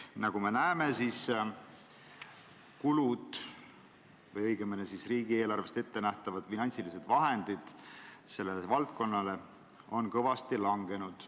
Nagu me näeme, riigieelarvest sellele valdkonnale ettenähtud finantsilised vahendid on kõvasti vähenenud.